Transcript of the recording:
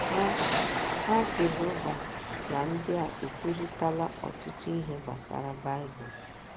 Ha Ha Jehova na ndị a ekwurịtala ọtụtụ ihe gbasara Baịbụl.